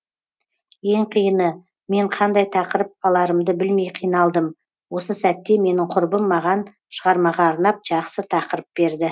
ең қиыны мен қандай тақырып аларымды білмей қиналдым осы сәтте менің құрбым маған шығармаға арнап жақсы тақырып берді